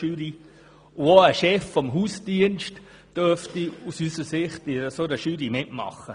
Auch ein Chef des Hausdienstes dürfte aus unserer Sicht in einer solchen Jury mitmachen.